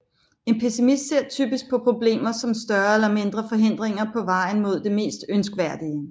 En pessimist ser typisk på problemer som større eller mindre forhindringer på vejen mod det mest ønskværdige